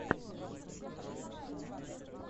покажи список пранков